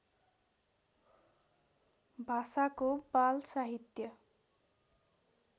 भाषाको बाल साहित्य